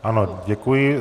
Ano, děkuji.